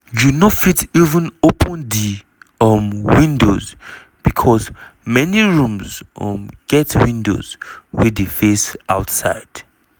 "you no fit even open di um windows becos many rooms um get windows wey dey face outside."